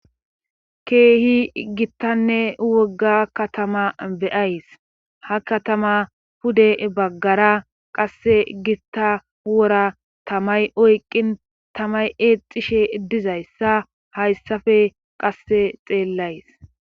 keehi gittanne wogga katama beyays ha katama pude baggara qasse gitta wora tamay oyqqin tamay eexishe dizayssa hayssafe qasse xeellays